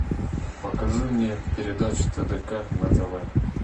покажи мне передачу тдк на тв